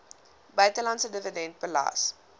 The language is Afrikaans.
buitelandse dividende belas